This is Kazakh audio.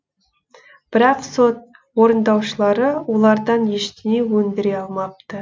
бірақ сот орындаушылары олардан ештеңе өндіре алмапты